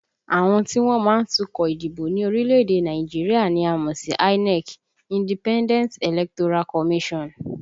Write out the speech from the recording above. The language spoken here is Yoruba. Àwọn tí wọ́n má ń tukọ̀ ìdìbò ní orílẹ̀èdè Nàìjíríà ni a mọ̀ sí INEC (Independent Electoral Commission)